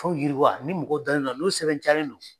k'aw yiriwa ni mɔgɔ dalen don a la , n'o sɛbɛntiyalen don.